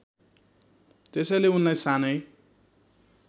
त्यसैले उनलाई सानै